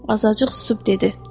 Azacıq susub dedi.